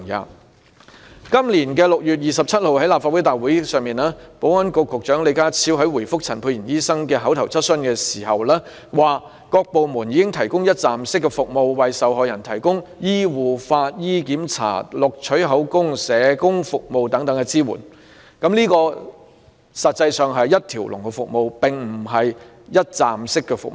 在今年6月27日的立法會會議上，保安局局長李家超回覆陳沛然醫生的口頭質詢時表示，各部門已提供一站式服務，讓受害人得到醫護、法醫檢查、錄取口供、社工服務等支援，但這實際上是一條龍服務，而非一站式服務。